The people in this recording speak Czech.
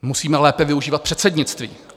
Musíme lépe využívat předsednictví.